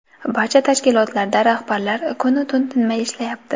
Barcha tashkilotlarda rahbarlar kun-u tun tinmay ishlayapti.